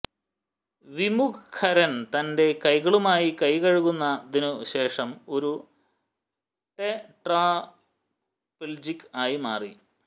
വിമുഖരൻ തന്റെ കൈകളുമായി കൈകഴുകുന്നതിനു ശേഷം ഒരു ടെട്രാപ്പിൾജിക് ആയി മാറി